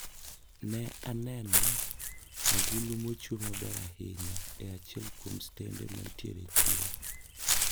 Ne aneno agulu maochwe maber ahinya e achiel kuom stende mantiere e chiro.